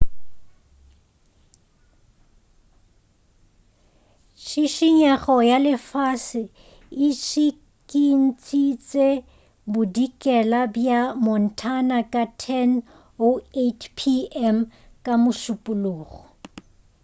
tšhitšhinyo ya lefase e tšhikintšitše bodikela bja montana ka 10:08 p.m. ka mošupulogo